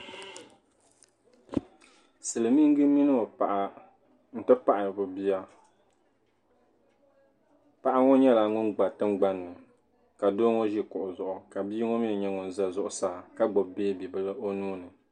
Silimiingi mini o paɣa n ti pahi be bia paɣa ŋɔ nyɛla ŋun gba tingban ni ka doo ŋɔ ʒe kuɣu zuɣu ka bia ŋɔ mi.nye ŋun za zuɣusaa ka gbubi o neebu bili o nuuni.